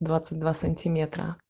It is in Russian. двадцать два сантиметра